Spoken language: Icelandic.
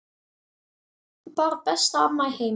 Bara besta amma í heimi.